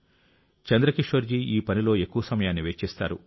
చంద్రకిషోర్ జీ ఈ పనిలో ఎక్కువ సమయాన్ని వెచ్చిస్తారు